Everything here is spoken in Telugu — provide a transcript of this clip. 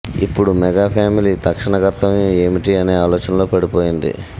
ఇప్పుడు మెగా ఫ్యామిలీ తక్షణ కర్తవ్యం ఏమిటి అనే ఆలోచనలో పడిపోయింది